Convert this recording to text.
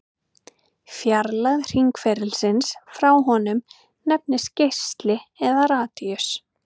Fjarlægð hringferilsins frá honum nefnist geisli eða radíus.